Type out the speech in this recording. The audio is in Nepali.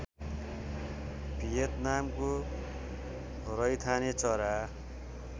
भियतनामको रैथाने चरा